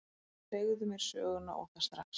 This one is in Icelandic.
Segðu mér söguna, og það strax.